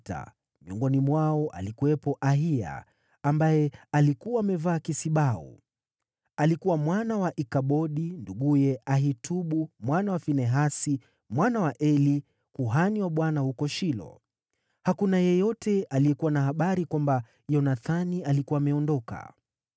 miongoni mwao alikuwepo Ahiya, ambaye alikuwa amevaa kisibau. Alikuwa mwana wa Ikabodi, nduguye Ahitubu mwana wa Finehasi, mwana wa Eli, kuhani wa Bwana huko Shilo. Hakuna yeyote aliyekuwa na habari kwamba Yonathani alikuwa ameondoka.